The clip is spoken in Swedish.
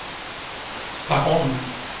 Laholm